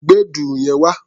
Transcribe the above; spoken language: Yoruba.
Gbé dùrù yẹn wá!